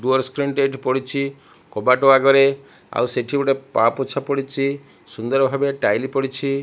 Door screen ଏଠି ପଡିଛି କବାଟ ଅଗରେ ଆଉ ସେଠି ଗୋଟେ ପାପୋଛ ପଡିଚି ସୁନ୍ଦର୍ ଭାବେ ଟାଇଲ୍ ପଡ଼ିଛି।